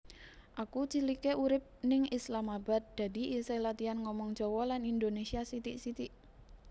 Aku cilike urip ning Islamabad dadi isih latian ngomong Jowo lan Indonesia sithik sithik